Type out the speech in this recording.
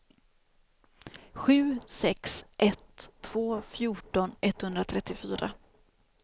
sju sex ett två fjorton etthundratrettiofyra